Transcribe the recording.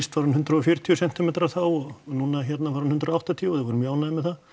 var hún hundrað og fjörutíu sentímetrar og núna var hún hundrað og áttatíu og þeir voru mjög ánægðir með það